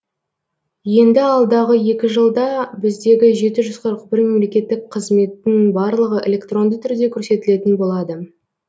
енді алдағы екі жылда біздегі жеті жүз қырық бір мемлекеттік қызметтің барлығы электронды түрде көрсетілетін болады